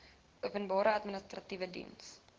openbare administratiewe diens